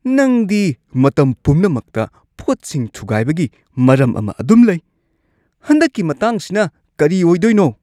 ꯅꯪꯗꯤ ꯃꯇꯝ ꯄꯨꯝꯅꯃꯛꯇ ꯄꯣꯠꯁꯤꯡ ꯊꯨꯒꯥꯏꯕꯒꯤ ꯃꯔꯝ ꯑꯃ ꯑꯗꯨꯝ ꯂꯩ ꯫ ꯍꯟꯗꯛꯀꯤ ꯃꯇꯥꯡꯁꯤꯅ ꯀꯔꯤ ꯑꯣꯏꯗꯣꯏꯅꯣ?